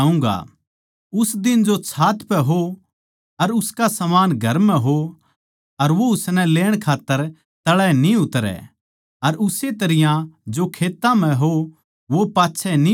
उस दिन जो छात पै हो अर उसका समान घर म्ह हो अर वो उसनै लेण खात्तर तळै न्ही उतरैं अर उस्से तरियां जो खेत्तां म्ह हो वो पाच्छै न्ही बोहड़ैं